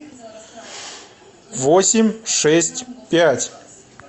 восемь шесть пять